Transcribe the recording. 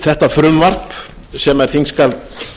þetta frumvarp sem er þingskjal